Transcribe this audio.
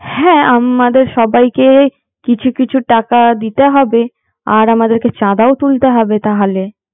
হ্যাঁ আমদের সবাইকে কিছু কিছু টাকা দিতে হবে আর আমাদেরকে চাঁদাও তুলতে হবে তাহলে